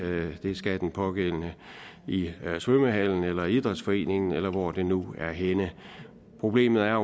det skal den pågældende i svømmehallen eller i idrætsforeningen eller hvor det nu er henne problemet er